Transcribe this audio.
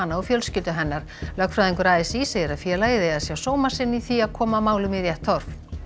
og fjölskyldu hennar lögfræðingur a s í segir að félagið eigi að sjá sóma sinn í því að koma málum í rétt horf